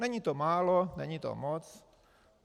Není to málo, není to moc.